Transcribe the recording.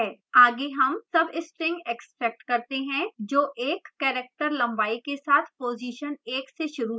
आगे हम substring extract करते हैं जो एक character लंबाई के साथ position एक से शुरू होता है